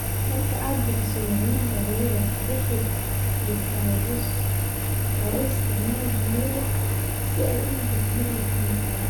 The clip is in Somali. marka aad bixiso macnaha erayada, bixi thesaurus oo u isticmaal jumlad si ay u noqoto mid la fahmi karo.